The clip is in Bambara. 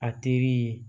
A teri ye